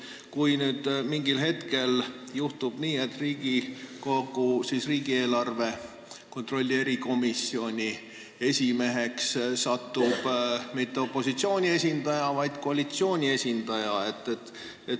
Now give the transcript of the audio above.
Mis saab sellisel juhul, kui mingil hetkel juhtub nii, et Riigikogu riigieelarve kontrolli erikomisjoni esimeheks ei saa mitte opositsiooni, vaid koalitsiooni esindaja?